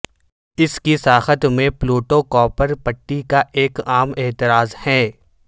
اس کی ساخت میں پلوٹو کوئپر پٹی کا ایک عام اعتراض ہے